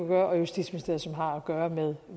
gøre og justitsministeriet som har at gøre med